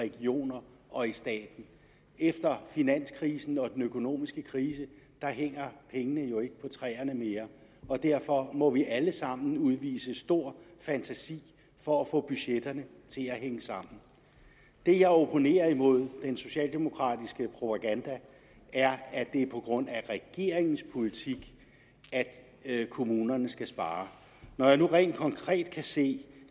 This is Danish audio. regioner og i staten efter finanskrisen og den økonomiske krise hænger pengene jo ikke på træerne mere og derfor må vi alle sammen udvise stor fantasi for at få budgetterne til at hænge sammen det jeg opponerer imod i den socialdemokratiske propaganda er at det er på grund af regeringens politik at kommunerne skal spare når jeg nu rent konkret kan se